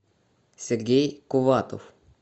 сергей куватов